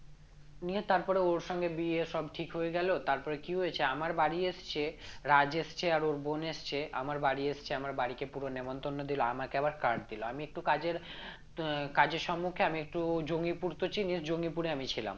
নিয়ে তারপরে ওর সঙ্গে বিয়ে সব ঠিক হয়ে গেল তারপরে কি হয়েছে আমার বাড়ি এসছে রাজ এসছে আর ওর বোন এসছে আমার বাড়ি এসছে আমার বাড়িকে পুরো নেমন্তন্ন দিল আমাকে আবার card দিল আমি একটু কাজের আহ কাজের সমুক্ষে আমি একটু জঙ্গিপুর তো চিনিস জঙ্গিপুরে আমি ছিলাম